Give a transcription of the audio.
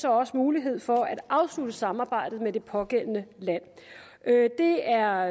også mulighed for at afslutte samarbejdet med det pågældende land det er